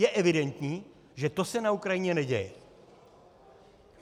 Je evidentní, že to se na Ukrajině neděje.